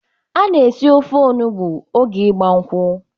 Ana esi ofe onugbo oge ịgba nkwụ.